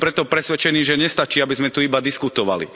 Som preto presvedčený, že nestačí, aby sme tu iba diskutovali.